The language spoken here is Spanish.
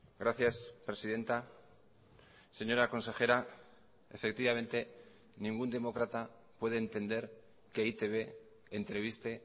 gracias presidenta señora consejera efectivamente ningún demócrata puede entender que e i te be entreviste